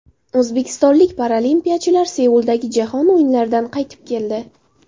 O‘zbekistonlik paralimpiyachilar Seuldagi Jahon o‘yinlaridan qaytib keldi.